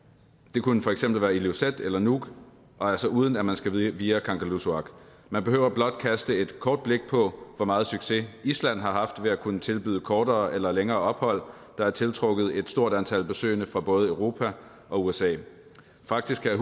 det kunne for eksempel være ilulissat eller nuuk og altså uden at man skal via kangerlussuaq man behøver blot kaste et kort blik på hvor meget succes island har haft ved at kunne tilbyde kortere eller længere ophold der har tiltrukket et stort antal besøgende fra både europa og usa faktisk kan